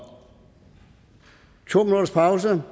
to minutters pause